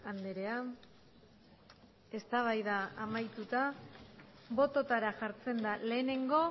andrea eztabaida amaituta bototara jartzen da lehenengo